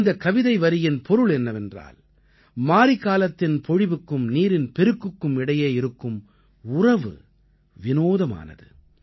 இந்தக் கவிதை வரியின் பொருள் என்னவென்றால் மாரிக்காலத்தின் பொழிவுக்கும் நீரின் பெருக்குக்கும் இடையே இருக்கும் உறவு விநோதமானது